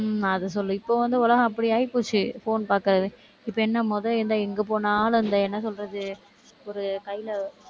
ஆஹ் அது சொல்லு, இப்ப வந்து உலகம் அப்படி ஆயிப்போச்சு phone பாக்கறது இப்ப என்ன முதல் எந்த எங்க போனாலும் அந்த என்ன சொல்றது ஒரு கையில